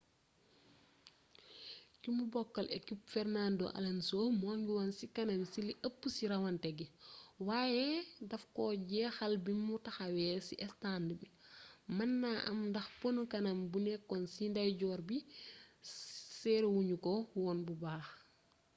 kimu bokkal ekip fernando alonso mu ngi woon ci kanam ci li ëpp ci rawante gi waaye daf koo jeexal bimu taxawee ci estànd bi mën naa am ndax pono kanam bu nekk ci ndeyjoor bu serré wuñu ko woon bu baax